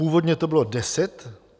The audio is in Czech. Původně to bylo deset.